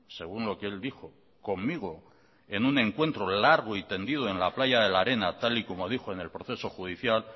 según lo que él dijo conmigo en un encuentro largo y tendido en la playa de la arena tal y como dijo en el proceso judicial